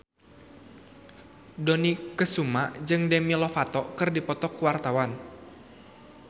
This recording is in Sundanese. Dony Kesuma jeung Demi Lovato keur dipoto ku wartawan